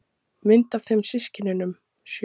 Mynd af þeim systkinunum sjö.